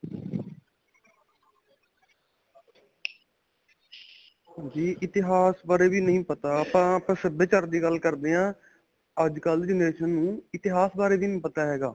ਜੀ ਇਤਿਹਾਸ ਬਾਰੇ ਵੀ ਨਹੀਂ ਪਤਾ ਆਪਾਂ ਆਪਣੇ ਸਭਿਆਚਾਰ ਦੀ ਗੱਲ ਕਰਦੇ ਹਾਂ ਅੱਜਕਲ੍ਹ ਦੀ generation ਨੂੰ ਇਤਿਹਾਸ ਬਾਰੇ ਵੀ ਨਹੀਂ ਪਤਾ ਹੈਗਾ.